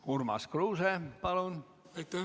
Urmas Kruuse, palun!